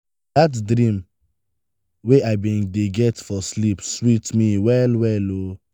dat dream wey i bin dey get for sleep sweet me well-well o.